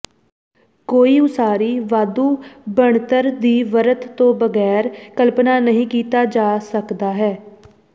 ਕੋਈ ਉਸਾਰੀ ਵਾਧੂ ਬਣਤਰ ਦੀ ਵਰਤ ਦੇ ਬਗੈਰ ਕਲਪਨਾ ਨਹੀ ਕੀਤਾ ਜਾ ਸਕਦਾ ਹੈ